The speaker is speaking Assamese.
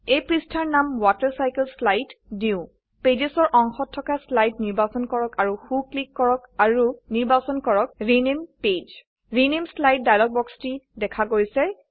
এই পৃষ্ঠাৰ নাম ৱাটাৰচাইকেলশ্লাইড দিও Pagesৰ অংশত থকা স্লাইড নিৰ্বাচন কৰক আৰু সো ক্লিক কৰক আৰু নিৰ্বাচন কৰক rename page rename slide dialog বক্সটি দেখা গৈছে